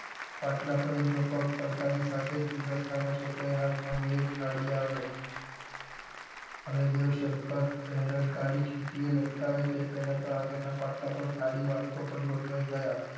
પાટલા પર એમનો પગ પડતાની સાથે જ પીરસનારા છોકરા એ હાથ માં થી એક થાળી આવે અને દેવશંકર પહેરણ કાઢી ખીતી એ લટકાવે તે પહેલા તો આગળ ના પાટલા પાર થાળી વાટકો પણ ગોઠવાઇ ગયા.